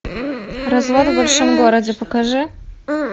развал в большом городе покажи